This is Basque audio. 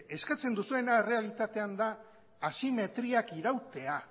eskatzen duzuena errealitatean da asimetriak irautea